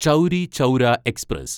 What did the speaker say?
Chauri Chaura express